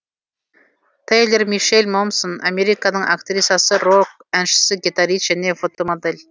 те йлор мише ль мо мсен американың актрисасы рок әншісі гитарист және фотомодель